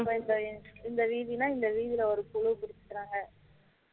விவசாயம் இந்த வீதினா இந்த வீதில ஒரு குழு பிடிச்சிக்குராங்க